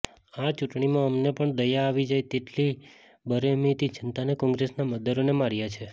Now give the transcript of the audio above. આ ચૂંટણીમાં અમને પણ દયા આવી જાય તેટલી બેરહેમીથી જનતાએ કોંગ્રેસના મતદારોને માર્યા છે